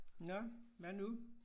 Nåh hvad nu